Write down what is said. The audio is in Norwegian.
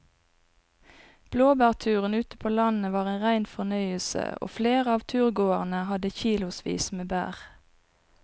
Blåbærturen ute på landet var en rein fornøyelse og flere av turgåerene hadde kilosvis med bær.